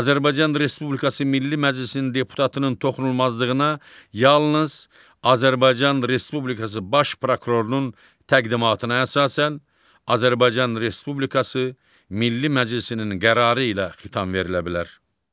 Azərbaycan Respublikası Milli Məclisi deputatının toxunulmazlığına yalnız Azərbaycan Respublikası Baş prokurorunun təqdimatına əsasən Azərbaycan Respublikası Milli Məclisinin qərarı ilə xitam verilə bilər.